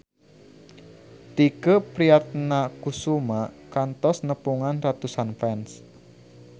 Tike Priatnakusuma kantos nepungan ratusan fans